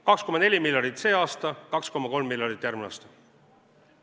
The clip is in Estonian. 2,4 miljonit sel aastal, 2,3 miljonit järgmisel aastal.